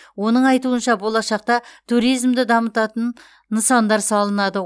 оның айтуынша болашақта туризмды дамытатын нысандар салынады